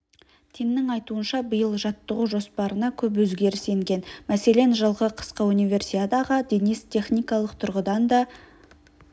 теннің айтуынша биыл жаттығу жоспарына көп өзгеріс енген мәселен жылғы қысқы универсиадаға денис техникалық тұрғыдан да